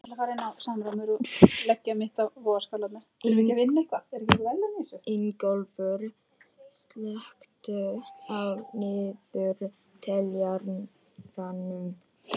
Ingólfur, slökktu á niðurteljaranum.